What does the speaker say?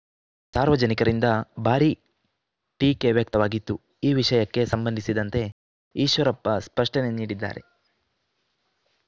ಸಾರ್ವಜನಿಕರಿಂದ ಭಾರೀ ಟೀಕೆ ವ್ಯಕ್ತವಾಗಿತ್ತು ಈ ವಿಷಯಕ್ಕೆ ಸಂಬಂಧಿಸಿದಂತೆ ಈಶ್ವರಪ್ಪ ಸ್ಪಷ್ಟನೆ ನೀಡಿದ್ದಾರೆ